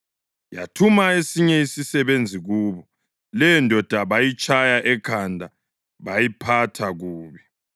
Yathuma esinye isisebenzi kubo; leyondoda bayitshaya ekhanda bayiphatha kubi.